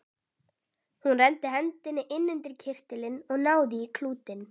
Hún renndi hendinni inn undir kyrtilinn og náði í klútinn.